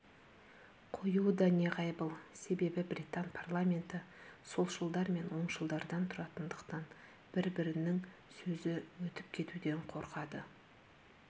қоюы да неғайбыл себебі британ парламенті солшылдар мен оңшылдардан тұратындықтан бір-бірінің сөзі өтіп кетуден қорқады